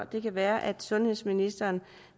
kan være at sundhedsministeren